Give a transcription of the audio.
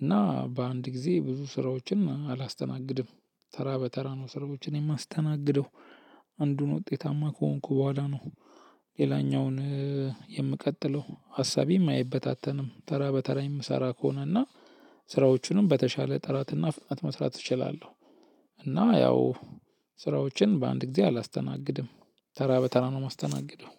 እና በአንድ ጊዜ ብዙ ስራዎችን አላስተናግድም ተራ በተራ ነው ስራዎችን የማስተናግደው አንዱን ውጤታማ ከሆንኩ በኋላ ነው። ሌላኛውን እ የምቀጥለው ሀሳቤም አይበታተንም ተራ በተራ የምሰራ ከሆነ እና ስራዎቹንም በተሻለ ጥራትና ፍጥነት መስራት እችላለሁ። እና ያው ስራዎችን በአንድ ጊዜ አላስተናግድም ተራ በተራ ነው የማስተናግደው።